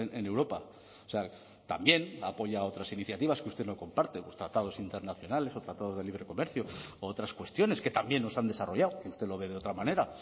en europa o sea también ha apoyado otras iniciativas que usted no comparte los tratados internacionales o tratados de libre comercio u otras cuestiones que también nos han desarrollado que usted lo ve de otra manera